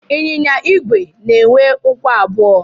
Ịnyịnya igwe na-enwe ụkwụ abụọ.